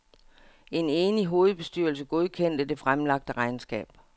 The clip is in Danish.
En enig hovedbestyrelse godkendte det fremlagte regnskab.